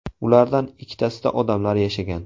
Ulardan ikkitasida odamlar yashagan.